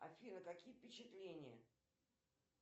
афина какие впечатления